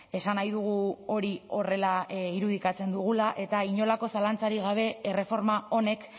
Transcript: esan nahi dugu hori horrela irudikatzen dugula eta inolako zalantzarik gabe erreforma honek